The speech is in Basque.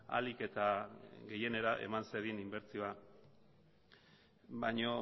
ahalik eta gehienera eman zedin inbertsioa baino